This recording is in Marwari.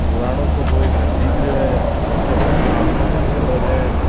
पुराणों सो कोई घर दिख रो है नीचे पक्कों आँगनों घालेडो है।